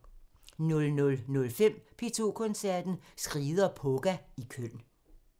00:05: P2 Koncerten – Skride og Poga i Køln